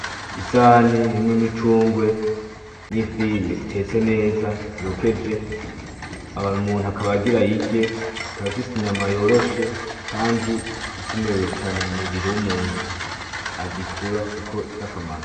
Isahani irimwo imicungwe, n'ifi itetse neza yokeje, hama umuntu akaba agira ayirye, ikaba ifise inyama yoroshe kandi ikenewe cane mumubiri w'umuntu ,agikura kuko ifise akamaro.